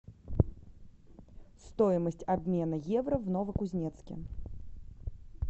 стоимость обмена евро в новокузнецке